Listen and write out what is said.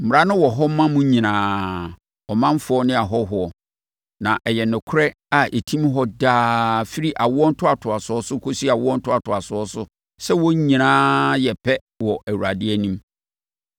Mmara no wɔ hɔ ma mo nyinaa—ɔmanfoɔ ne ahɔhoɔ; na ɛyɛ nokorɛ a ɛtim hɔ daa firi awoɔ ntoatoasoɔ so kɔsi awoɔ ntoatoasoɔ so sɛ wɔn nyinaa yɛ pɛ wɔ Awurade anim.